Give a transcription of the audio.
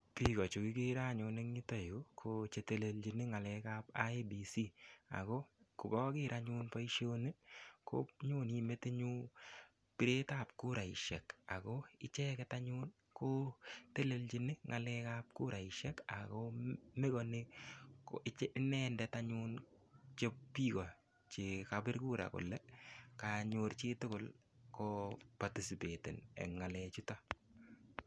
Biko chekikere anyun eng yuto Yu ko telelchimi ng'alek ap IEBC ako kokaker anyun boishoni ko nyoni metinyun biret ap kuraishek ako icheket anyun ko telelchini ng'alek ap kuraishek ako mekoni inendet anyun biko chekabir kura kole kanyor chitugul ko patisipeten eng ngalechuto.